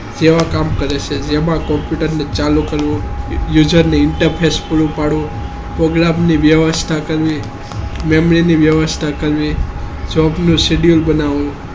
કેવા કામ કરે છે જેમાં computer ને ચાલુ કરવું user interface ઉપાડો problem ની વ્યવસ્થા કરવી મેમરી ની વ્યવસ્થા કરવી job નું schedule બનાવો